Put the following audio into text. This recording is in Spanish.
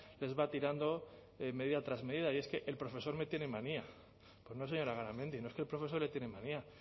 les va tirando medida tras medida y es que el profesor me tiene manía pues no señora garamendi no es que el profesor le tiene manía